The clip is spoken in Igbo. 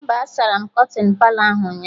Mba, a sara m kọtịn Palọ ahụ ụnyaahụ